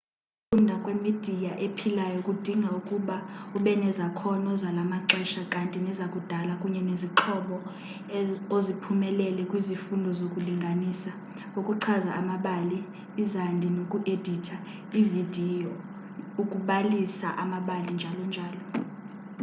ukufunda ngemidiya ephilayo kudinga ukuba ubenezakhono zalamaxesha kanti nezo zakudala kunye nezixhobo oziphumelele kwizifundo zokulinganisa ukuchaza ngamabali izandi noku editha ividiyo ukubalisa amabali njalo njalo.